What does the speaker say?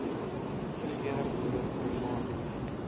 regering moedig private